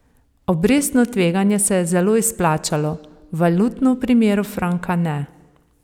Obrestno tveganje se je zelo izplačalo, valutno v primeru franka ne.